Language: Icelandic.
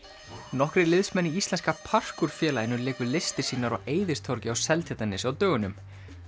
nokkrir liðsmenn í íslenska félaginu léku listir sínar á Eiðistorgi á Seltjarnarnesi á dögunum